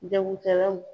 Jagokɛlaw